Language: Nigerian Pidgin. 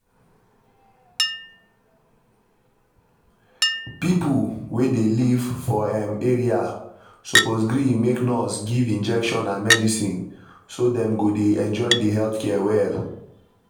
people wey dey live for um area suppose gree make nurse give injection and medicine so dem go dey enjoy di health care well.